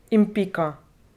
In pika.